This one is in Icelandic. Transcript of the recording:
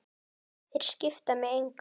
Þeir skipta mig engu.